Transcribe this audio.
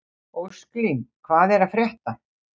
Ósklín, hvað er að frétta?